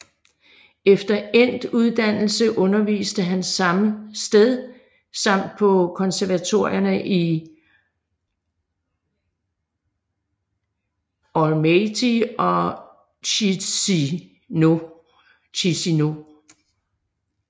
Efter endt uddannelse underviste han samme sted samt på konservatorierne i Almaty og Chisinau